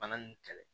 Bana nin kɛlɛ